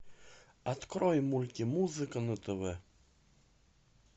открой мультимузыка на тв